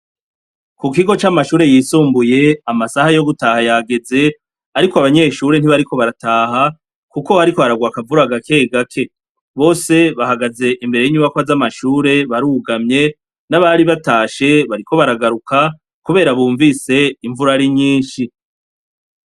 Ku kigo c'amashure y'isumbuye, amasaha yo gutaha yageze, ariko abanyeshure ntibariko barataha kuko hariko hararwa akavura gake gake, bose bahagaze imbere y'inyubakwa z'amashure barugamye, n'abari batashe bariko baragaruka kubera bumvise imvura ari nyinshi.